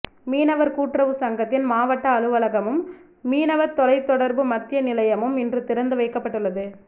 மீனவர் கூட்டுறவு சங்கத்தின் மாவட்ட அலுவலகமும் மீனவர் தொலை தொடர்பு மத்திய நிலையமும் இன்று திறந்து வைக்கப்பட்டுள்ளது